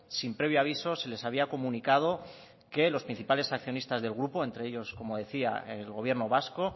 sin previo aviso se les había comunicado que los principales accionistas del grupo entre ellos como decía el gobierno vasco